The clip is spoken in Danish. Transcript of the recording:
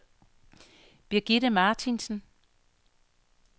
Birgitte Martinsen